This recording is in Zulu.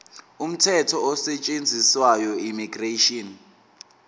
umthetho osetshenziswayo immigration